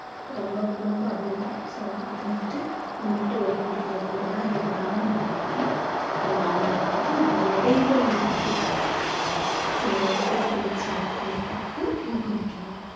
ரொம்ப ரொம்ப ரொம்ப அபூர்வம் so அது வந்துட்டு இந்த முட்டு வலி இடுப்பு வலி இதெல்லாம் வராம இருக்கறதுக்கு நம்ம அவங்களை வந்துட்டு இப்படி எடைகள் எடுத்து செய்யற உடற்பயிற்சிகள் செய்வதற்கு ஊக்குவிக்கலாம்